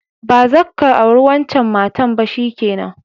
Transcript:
Ba zabka aure wancan matan ba, shikenan!